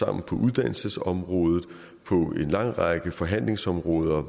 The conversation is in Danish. er på uddannelsesområdet og på en lang række forhandlingsområder